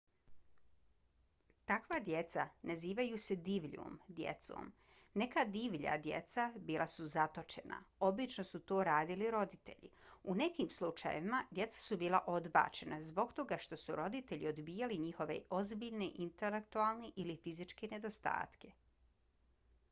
takva djeca nazivaju se divljom djecom. neka divlja djeca bila su zatočena obično su to radili roditelji; u nekim slučajevima djeca su bila odbačena zbog toga što su roditelji odbijali njihove ozbiljne intelektualne ili fizičke nedostatke